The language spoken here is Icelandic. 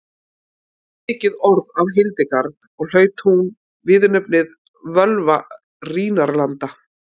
fór mikið orð af hildegard og hlaut hún viðurnefnið völva rínarlanda